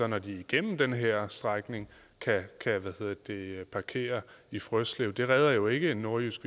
når de er igennem den her strækning kan parkere i frøslev det redder jo ikke en nordjysk